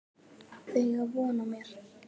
Þau eiga von á mér.